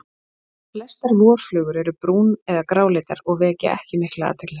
Flestar vorflugur eru brún- eða gráleitar og vekja ekki mikla athygli.